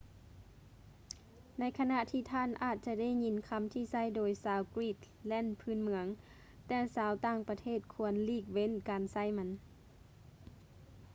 ໃນຂະນະທີ່ທ່ານອາດຈະໄດ້ຍິນຄຳທີ່ໃຊ້ໂດຍຊາວກຣີນແລນພື້ນເມືອງ ແຕ່ຊາວຕ່າງປະເທດຄວນຫຼີກເວັ້ນການໃຊ້ມັນ